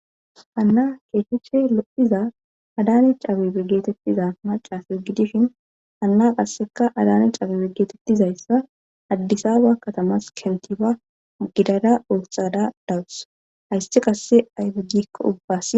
Hanna keehiche lo'iza adani cabe bigetettiza macasu gidishin hanna qasseka adani cabe bigetettizayssa addisaba katamas kentifa gidada ootxada dawus hayssi qasse aybegikko ubbas.